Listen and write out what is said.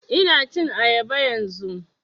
Ina cin ayaba yanzun